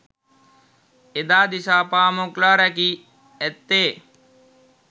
එදා දිසාපාමොක්ලා රැකී ඇත්තේ